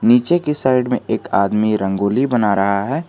नीचे की साइड में एक आदमी रंगोली बना रहा है।